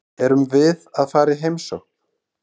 Erum við að fara í heimsókn?